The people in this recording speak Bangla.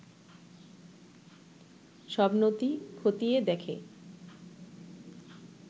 সব নথি খতিয়ে দেখে